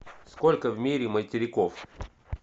сколько в мире материков